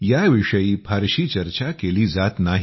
याविषयी फारशी चर्चा केली जात नाही